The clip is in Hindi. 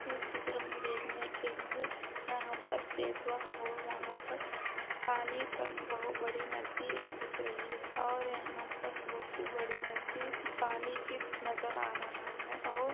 इस चित्र में देखने के लिए यहां पर सेतुआ और वहां पर पानी पर बोहो बड़ी नदी दिख रही है और यहां पर बहुत सी बड़ी नदी पानी नजर आ रहा है और--